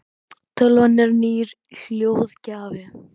tölvan er nýr hljóðgjafi